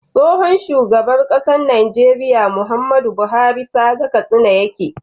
Tsohon shugaban ƙasar Nigeria Muhammadu buhari saga katsina yake